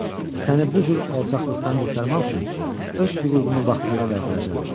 Səni bu cür alçaqlıqdan qurtarmaq üçün öz hüququmu vaxtında qaytaracağam.